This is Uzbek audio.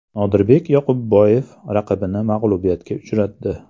Nodirbek Yoqubboyev raqibini mag‘lubiyatga uchratdi.